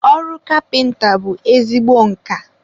ọrụ kapịnta bụ ezigbo nka.